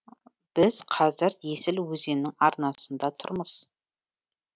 біз қазір есіл өзенінің арнасында тұрмыз